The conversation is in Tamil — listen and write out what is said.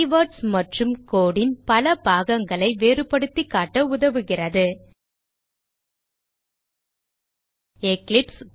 கீவர்ட்ஸ் மற்றும் code ன் பல பாகங்களை வேறுபடுத்தி காட்ட உதவுகிறது எக்லிப்ஸ்